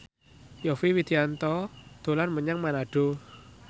Yovie Widianto dolan menyang Manado